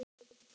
Á grasinu?